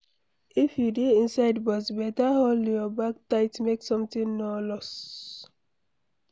If you dey inside bus, beta hold your bag tight make something no loss